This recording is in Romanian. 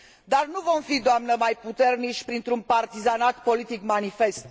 Dar nu vom fi, doamnă, mai puternici printr un partizanat politic manifest.